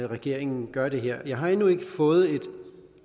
regeringen gør det her jeg har endnu ikke fået